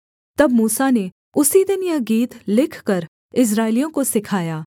तब मूसा ने उसी दिन यह गीत लिखकर इस्राएलियों को सिखाया